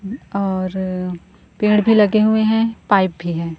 और पेड़ भी लगे हुए हैं पाइप भी हैं।